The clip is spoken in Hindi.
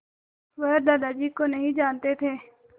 वह दादाजी को नहीं जानते थे